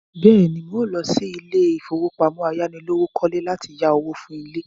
Bẹ́ẹ̀ ni, mò lọ sí ilé-ìfowópamọ́ ayánilówókọ́lé láti yáwó fún ilé.